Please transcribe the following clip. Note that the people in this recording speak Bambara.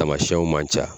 Tamasiyɛnw man ca